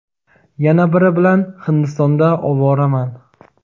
yana biri bilan Hindistonda ovoraman.